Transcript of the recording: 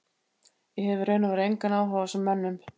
Ég hef í raun og veru engan áhuga á þessum mönnum.